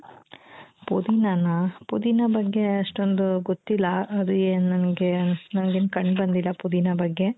ಪುದೀನಾನ ಪುದೀನ ಬಗ್ಗೆ ಅಷ್ಟೊಂದು ಗೊತ್ತಿಲ್ಲ ಅದು ಏನ್ ನನಗೆ ನನಗೇನೂ ಕಂಡು ಬಂದಿಲ್ಲ ಪುದೀನ ಬಗ್ಗೆ